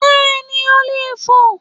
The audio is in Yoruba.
Bẹ́ẹ̀ni, o leè fo